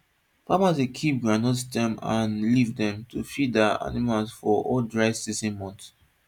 farmers dey keep groundnut stem and leaf dem to feed their animals for all dry season months